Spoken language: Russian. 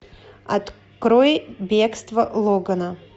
открой бегство логана